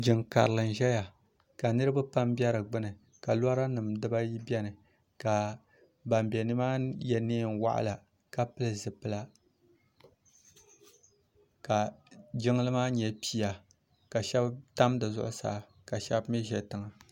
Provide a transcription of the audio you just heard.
jinkari n ʒɛya pam ka loranim dibaayi bɛni ka ban bɛ ni maa yɛ nɛɣila ka pɛli zipɛla ka jinli maa nyɛ pɛya ka shɛbi tam di zuɣ' saa ka shɛbi m ʒɛ tiŋa